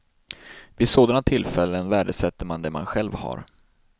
Vid sådana tillfällen värdesätter man det man själv har.